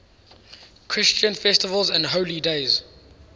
christian festivals and holy days